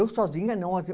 Eu sozinha, não.